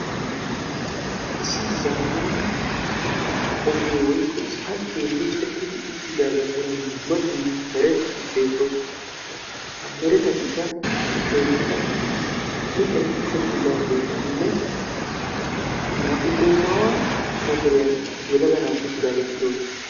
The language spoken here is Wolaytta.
issi zammana issipalte miccetidaga heerani dumma dumma keetatine dumma dumma mittati beettosona.